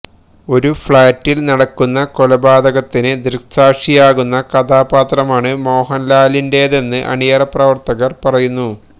ഒരു ഫ് ളാറ്റില് നടക്കുന്ന കൊലപാതകത്തിന് ദൃക്സാക്ഷിയാകുന്ന കഥാപാത്രമാണ് മോഹന്ലാലിന്റേതെന്ന് അണിയറ പ്രവര്ത്തകര് പറയുന്നു